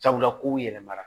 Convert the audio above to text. Sabula kow yɛlɛmara